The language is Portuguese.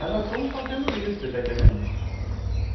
Aí nós fomos fazendo isso, você está entendendo?